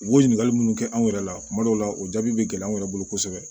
U b'o ɲininkali munnu kɛ anw yɛrɛ la kuma dɔw la o jaabi bɛ gɛlɛya an yɛrɛ bolo kosɛbɛ